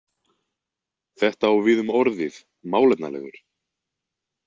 Þetta á við um orðið „málefnalegur“.